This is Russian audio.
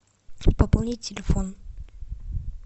пополнить телефон